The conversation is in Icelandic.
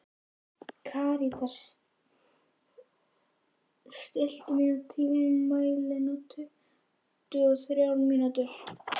Karítas, stilltu tímamælinn á tuttugu og þrjár mínútur.